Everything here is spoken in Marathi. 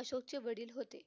अशोकचे वडिल होते.